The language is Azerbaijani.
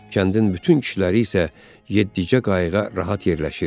Kəndin bütün kişiləri isə yeddicə qayıqda rahat yerləşirdi.